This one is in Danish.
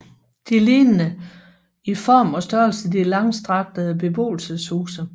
De lignede i form og størrelse de langstrakte beboelseshuse